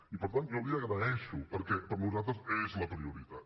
i per tant jo li ho agraeixo perquè per nosaltres és la prioritat